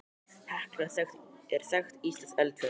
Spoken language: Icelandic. Hekla er þekkt íslenskt eldfjall.